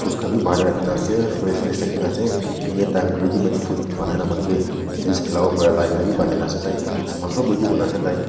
rakhina ase fridge fridge rakhina ase anytime ready made fruit banaina muikhan ke juice khela paribo ena la bi banaina ase tai saman sob ready kurina ase tai.